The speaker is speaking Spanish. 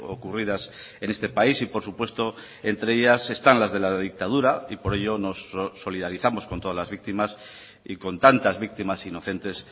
ocurridas en este país y por supuesto entre ellas están las de la dictadura y por ello nos solidarizamos con todas las víctimas y con tantas víctimas inocentes